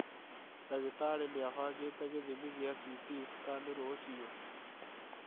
Ndagĩtarĩ nĩabangĩte gĩthimi gĩa CT scan rũciũ